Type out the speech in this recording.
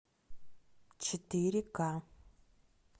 четыре ка